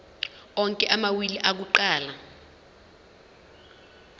onke amawili akuqala